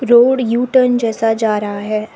Road U turn जैसा जा रहा है।